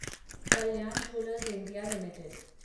Kalyan jewellers India limited